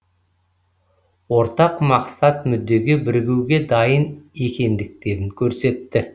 ортақ мақсат мүддеге бірігуге дайын екендіктерін көрсетті